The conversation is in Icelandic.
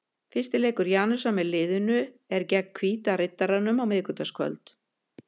Fyrsti leikur Janusar með liðið er gegn Hvíta Riddaranum á miðvikudagskvöld.